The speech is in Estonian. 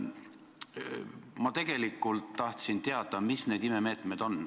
Ma tegelikult tahtsin teada, mis need imemeetmed on.